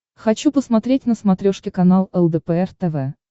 хочу посмотреть на смотрешке канал лдпр тв